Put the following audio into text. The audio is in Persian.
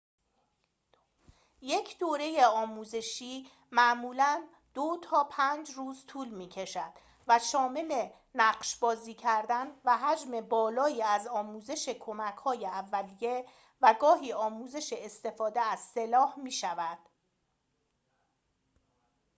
یک دوره آموزشی معمولاً ۲ تا ۵ روز طول می‌کشد و شامل نقش بازی کردن و حجم بالایی از آموزش کمک‌های اولیه و گاهی آموزش استفاده از سلاح می‌شود